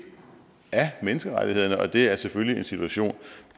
af menneskerettighederne og det er selvfølgelig en situation